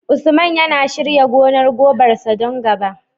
Usman yana shirya gonar gobar sa don gaba